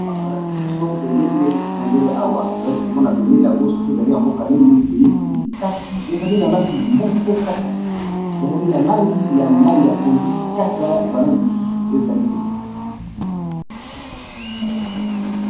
Awa balakisi biso bendele awa tozali komona bendele yango soki ezali ya mboka neni toyebi te kasi ezali na langi moko kaka ezali na langi ya mayi ya pondu kaka ba langi mususu ezali te.